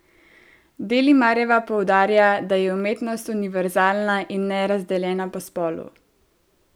Delimarjeva poudarja, da je umetnost univerzalna in ne razdeljena po spolu.